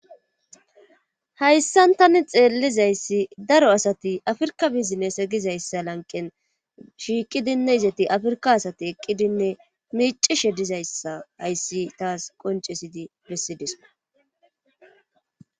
Hayssan tani xeellizayssi daro asati afrka bizinne segizayssa lanqen shiiqidinne izati afrika asati eqqidinne miicishe dizayssa hayssi taas qoncesidi bessidisku.